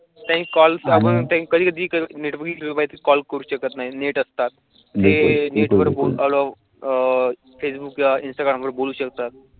कधी निर्मळ कॉल करू शकत नाही नेट असतात ते वर बोलून अह फेसबुक इन्स्टाग्रामवर बोलू शकतात.